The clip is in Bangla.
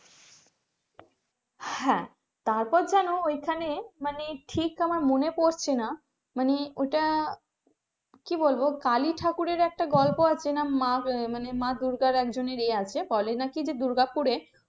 হ্যাঁ তারপর যেন ওইখানে মানে ঠিক আমার মনে পড়ছে না মানে ওইটা কি বলবো কালি ঠাকুরের একটা গল্প আছে মা মানে মা দুর্গার একজনের ইয়ে আছে বলে নাকি দুর্গাপুরে,